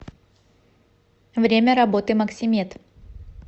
время работы максимед